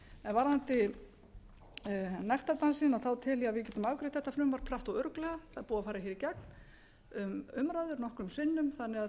varðandi nektardansinn tel ég að við getum afgreitt þetta frumvarp hratt og örugglega það er búið fara hér í gegnum umræðu nokkrum sinnum þannig að